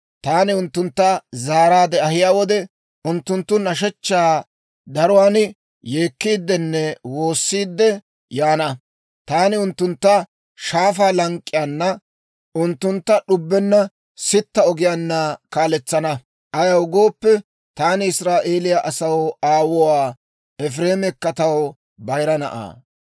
Taani unttuntta zaaraadde ahiyaa wode, unttunttu nashshechchaa daruwaan yeekkiiddenne woossiidde yaana. Taani unttuntta shaafaa lank'k'iyaana, unttuntta d'ubbenna sitta ogiyaanna kaaletsana. Ayaw gooppe, taani Israa'eeliyaa asaw aawuwaa; Efireemikka taw bayira na'aa.